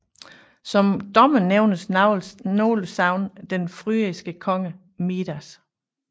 Som dommer nævner nogle sagn den frygiske konge Midas